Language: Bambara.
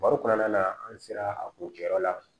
Baro kɔnɔna na an sera a kun kɛyɔrɔ la